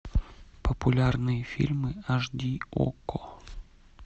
популярные фильмы аш ди окко